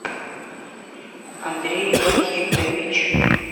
андрей вахитович